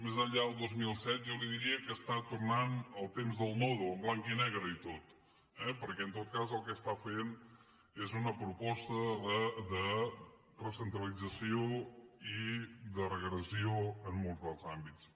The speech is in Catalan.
més enllà del dos mil set jo li diria que està tornant al temps del nodo en blanc i negre i tot eh perquè en tot cas el que està fent és una proposta de recentralització i de regressió en molts dels àmbits